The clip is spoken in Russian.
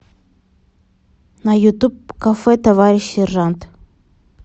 на ютуб кафе товарищ сержант